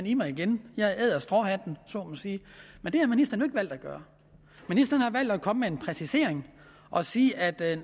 i mig igen jeg æder stråhatten om så må sige men det har ministeren jo ikke valgt at gøre ministeren har valgt at komme med en præcisering og sige at